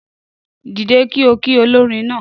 Dìde kí ọ ki olórin náà